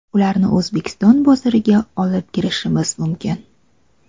Ularni O‘zbekiston bozoriga olib kirishimiz mumkin.